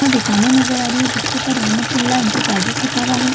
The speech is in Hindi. दुकाने नजर आ रही है जिसके ऊपर रहमातुल्ला इंटरप्राइसेस लिखा हुआ है।